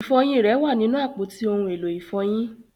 Ifọyin rẹ wà ninu apọti ohun elo ifọyin.